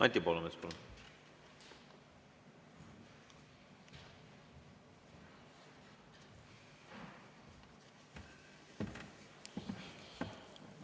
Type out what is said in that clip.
Anti Poolamets, palun!